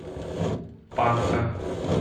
панка